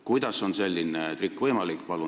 Kuidas on selline trikk võimalik?